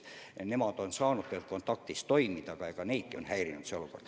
Nemad on saanud tegelikult kontaktis õpetajatega õppida, aga eks neidki on see olukord häirinud.